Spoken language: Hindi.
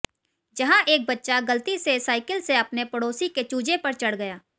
जहां एक बच्चा गलती से साइकिल से अपने पड़ोसी के चूजे पर चढ़ गया